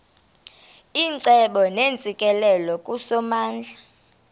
icebo neentsikelelo kusomandla